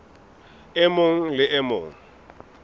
e mong le e mong